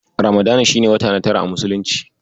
Ramadana shi ne wata na tara a Muslunci.